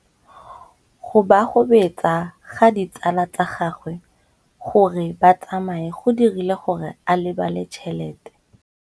Go gobagobetsa ga ditsala tsa gagwe, gore ba tsamaye go dirile gore a lebale tšhelete.